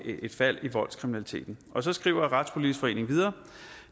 fald i voldskriminaliteten så skriver retspolitisk forening videre